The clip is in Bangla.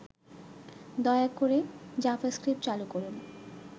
দয়া করে জাভাস্ক্রিপ্ট চালু করুন